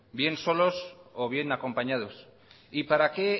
bien solos o bien acompañados y para qué